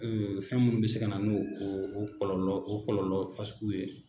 fɛn minnu bɛ se ka na no o kɔlɔlɔ o kɔlɔlɔ fasuguw ye.